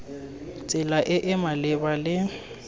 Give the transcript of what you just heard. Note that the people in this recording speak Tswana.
tsela e e maleba le